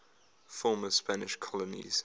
former spanish colonies